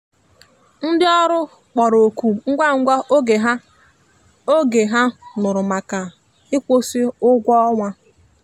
ndi ọrụ kpọrọ oku ngwa ngwa oge ha oge ha nụrụ maka ikwusi ụgwọ ọnwa.